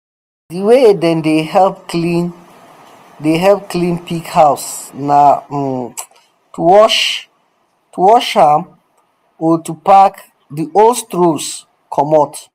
di way dem dey help clean dey help clean pig house na um to um wash um am or to pack di old straws comot